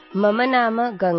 मम नाम गङ्गा